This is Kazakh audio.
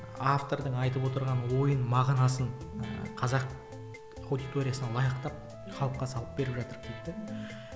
автордың айтып отырған ойын мағынасын ыыы қазақ аудиториясына лайықтап халыққа салып беріп жатырық дейді де